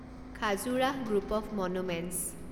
Khajuraho group of monuments